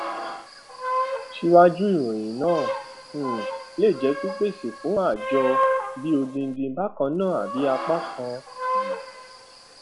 síwájú ìròyìn náà um lé jẹ pípèsè fún ààjọ bí odidi bakanna bí apákan um